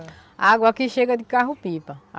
A água aqui chega de carro-pipa.